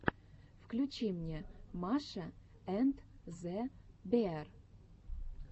включи мне маша энд зе беар